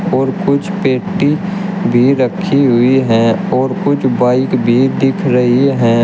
और कुछ पेटी भी रखी हुई हैं और कुछ बाइक भी दिख रही हैं।